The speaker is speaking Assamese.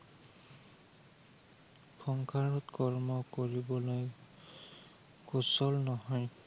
সংসাৰত কৰ্ম কৰিবলৈ সুচল নহয়।